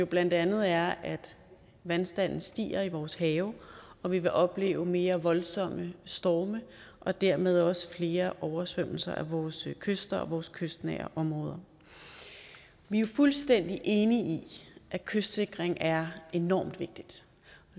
blandt andet er at vandstanden stiger i vores have og vi vil opleve mere voldsomme storme og dermed også flere oversvømmelser af vores kyster og vores kystnære områder vi er fuldstændig enige i at kystsikring er enormt vigtigt